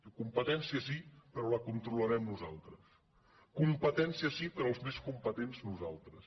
diu competència sí però la controlarem nosaltres competència sí però els més competents no·saltres